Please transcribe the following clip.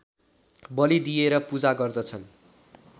बली दिएर पूजा गर्दछन्